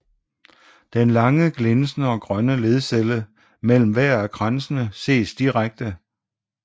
Den lange glinsende og grønne ledcelle mellem hver af kransene ses direkte